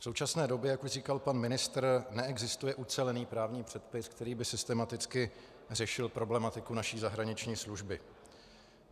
V současné době, jak už říkal pan ministr, neexistuje ucelený právní předpis, který by systematicky řešil problematiku naší zahraniční služby.